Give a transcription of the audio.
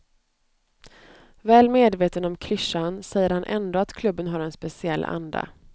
Väl medveten om klyschan säger han ändå att klubben har en speciell anda.